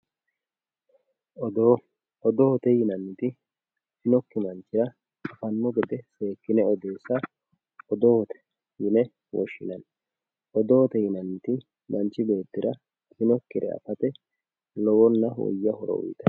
odoo odoote yinanniti afinokki manchira afanno gede seekkine odeessa odoote yinanni odoote yinanniti manchi beettira afinokkire afate lowonna woyya horo uyiitanno